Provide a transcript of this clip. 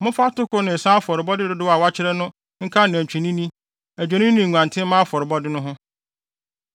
Momfa atoko ne nsa afɔrebɔde dodow a wɔakyerɛ no nka anantwinini, adwennini ne nguantenmma afɔrebɔ no ho.